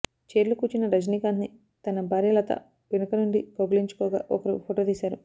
chair లో కూర్చున్న Rajinikanth ని తన భార్య లత వెనుకనుండి కౌగిలించుకోగా ఒకరు ఫోటో తీశారు